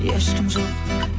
ешкім жоқ